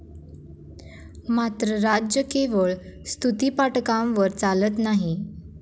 मात्र राज्य केवळ स्तुतीपाठकांवर चालत नाही.